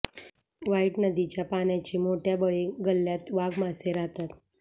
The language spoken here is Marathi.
व्हाइट नदीच्या पाण्याची मोठ्या बळी गल्याथ वाघ मासे राहतात